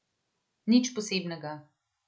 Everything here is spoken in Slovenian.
Nič posebnega.